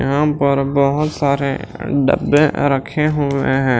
यहां पर बहुत सारे डब्बे रखे हुए हैं।